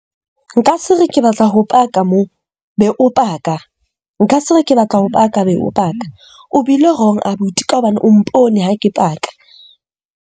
Nka se re ke batla ho paka mo, be o paka. Nka se re ke batla ho paka, be o paka. O bile wrong abuti ka hobane o mpone ha ke paka.